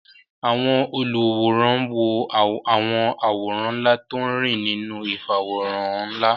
Àwọn olùwòran wo àwọn àwòrán ńlá tó ń rìn nínú ìfàwòránhàn ńlá